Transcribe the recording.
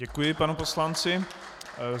Děkuji panu poslanci.